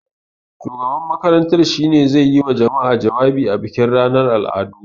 Shugaban makarantar shi ne zai yi wa jama'a jawabi a bikin ranar al'adu.